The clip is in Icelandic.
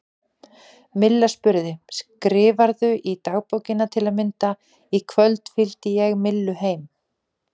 Milla spurði: Skrifarðu í dagbókina til að mynda: Í kvöld fylgdi ég Millu heim?